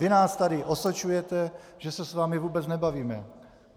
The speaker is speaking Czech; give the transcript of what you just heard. Vy nás tady osočujete, že se s vámi vůbec nebavíme.